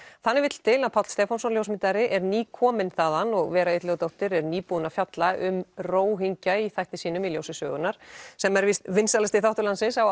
þannig vill til að Páll Stefánsson ljósmyndari er nýkominn þaðan og Vera Illugadóttir er nýbúin að fjalla um Róhingja í þætti sínum í ljósi sögunnar sem er víst vinsælasti þáttur landsins á